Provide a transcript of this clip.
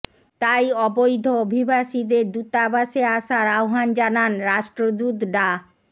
তাই অবৈধ অভিবাসীদের দূতাবাসে আসার আহবান জানান রাষ্ট্রদূত ডা